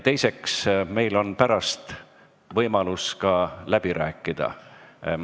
Teiseks, meil on pärast võimalus läbi rääkida.